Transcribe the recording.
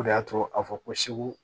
O de y'a to a bɛ fɔ ko segu